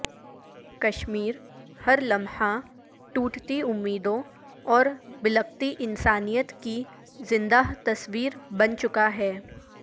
کشمیر ہر لمحہ ٹوٹتی امیدوں اور بلکتی انسانیت کی زندہ تصویر بن چکا ہے